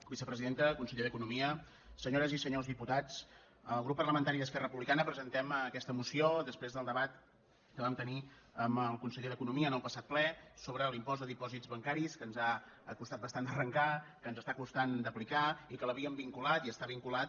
vicepresidenta conseller d’economia senyores i senyors diputats el grup parlamentari d’esquerra republicana presentem aquesta moció després del debat que vam tenir amb el conseller d’economia en el passat ple sobre l’impost de dipòsits bancaris que ens ha costat bastant d’arrencar que ens està costant d’aplicar i que l’havíem vinculat i està vinculat